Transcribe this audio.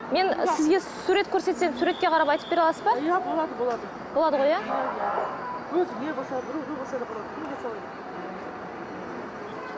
мен сізге сурет көрсетсем суретке қарап айтып бере аласыз ба иә болады болады болады ғой иә өзіңе болса біреуге болса да болады кімге салайын